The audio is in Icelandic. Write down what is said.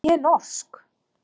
En ég er norsk.